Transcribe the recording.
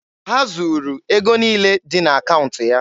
Ha zuru ego niile dị n'akaụntụ ya.